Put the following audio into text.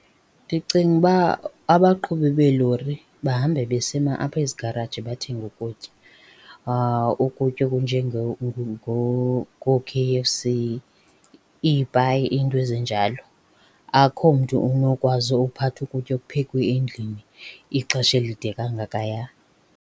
Ndicinga uba abaqhubi beelori bahambe besima ezigaraji bathege ukutya. Ukutya ngoo-K_F_C, iipayi iinto ezinjalo. Akhomntu unokwazi ukuphatha ukutya okuphekwe endlini ixesha elide kangakaya.